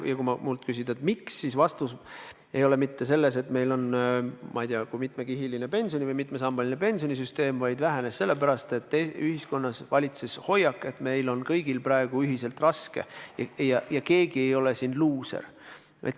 Ja kui minult küsida, miks, siis vastus ei ole mitte see, et meil on olnud, ma ei tea kui mitmekihiline pension või mitmesambaline pensionisüsteem, vaid see vähenes sellepärast, et ühiskonnas valitses hoiak, et meil on kõigil praegu ühiselt raske ja keegi ei ole siin luuser.